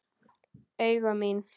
Augu mín.